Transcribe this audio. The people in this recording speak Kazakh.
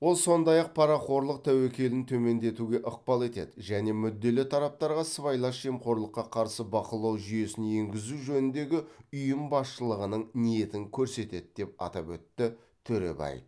ол сондай ақ парақорлық тәуекелін төмендетуге ықпал етеді және мүдделі тараптарға сыбайлас жемқорлыққа қарсы бақылау жүйесін енгізу жөніндегі ұйым басшылығының ниетін көрсетеді деп атап өтті төребаев